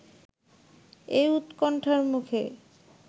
এ উৎকণ্ঠার মুখে